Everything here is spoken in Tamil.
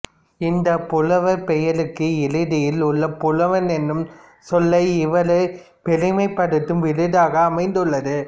இந்தப் புலவர் பெயருக்கு இறுதியில் உள்ள புலவன் என்னும் சொல்லே இவரைப் பெருமைப்படுத்தும் விருதாக அமைந்துள்ளது